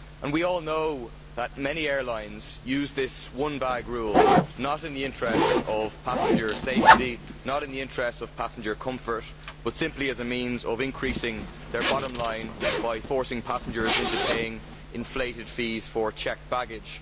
We all know that many airlines do not use this one bag rule' in the interests of passenger safety or passenger comfort but simply as a means of increasing their bottom line by forcing passengers into paying inflated fees for checked baggage.